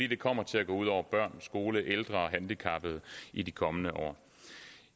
det kommer til at gå ud over børn skoler ældre og handicappede i de kommende år